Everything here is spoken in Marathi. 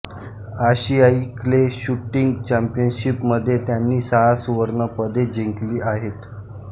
आशियाई क्ले शूटिंग चॅम्पियनशिपमध्ये त्यांनी सहा सुवर्णपदके जिंकली आहेत